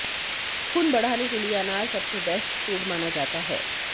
खून बढ़ाने के लिए अनार सबसे बेस्ट फूड माना जाता है